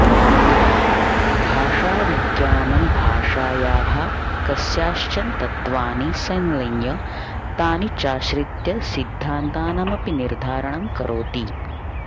भाषाविज्ञानं भाषायाः कस्याश्चन तत्वानि सङ्लय्य तानि चाश्रित्य सिद्धान्तानामपि निर्धारणं करोति